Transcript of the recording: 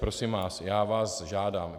Prosím vás, já vás žádám.